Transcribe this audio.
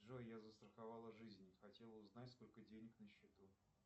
джой я застраховала жизнь хотела узнать сколько денег на счету